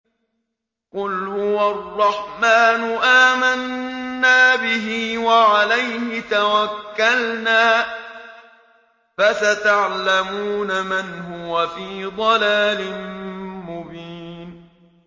قُلْ هُوَ الرَّحْمَٰنُ آمَنَّا بِهِ وَعَلَيْهِ تَوَكَّلْنَا ۖ فَسَتَعْلَمُونَ مَنْ هُوَ فِي ضَلَالٍ مُّبِينٍ